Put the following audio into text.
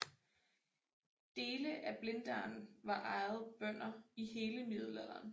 Dele af Blindern var ejet bønder i hele middelalderen